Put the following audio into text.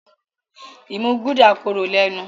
imú Gulder kòrò lénu.